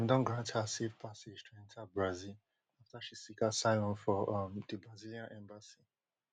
dem don grant her safe passage to enta brazil afta she seek asylum for um di brazilian embassy